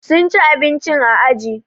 Sun ci abinci a aji